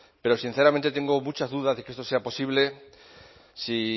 pero sinceramente tengo muchas dudas de que esto sea posible si